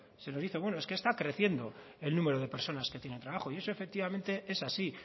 se nos dice bueno es que está creciendo el número de personas que tienen trabajo y eso efectivamente es así